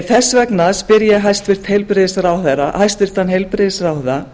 þess vegna spyr ég hæstvirtan heilbrigðisráðherra